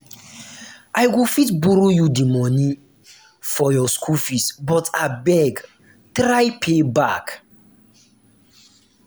i go fit borrow you the money for your school fees but abeg try to pay back.